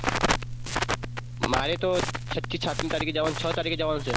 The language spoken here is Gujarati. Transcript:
મારે ઓ છઠી સાતમી તરીકે જવાન છ તરીકે જવાનું છે.